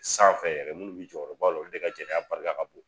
Sanfɛ yɛrɛ minnu bɛ jɔrɔba la olu de ka j ɛnɛya barika ka bon.